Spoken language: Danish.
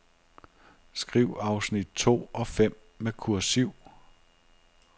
Skriv afsnit to og fem med kursiv.